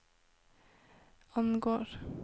angår